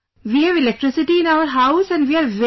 We have electricity in our house and we are very happy